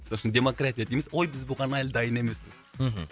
мысалы үшін демократия дейміз ой біз бұған әлі дайын емеспіз мхм